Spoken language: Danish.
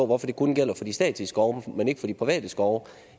hvorfor det kun gælder for de statslige skove men ikke for de private skove